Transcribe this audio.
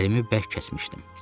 Əlimi bərk kəsmişdim.